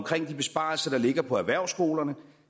de besparelser der ligger på erhvervsskolerne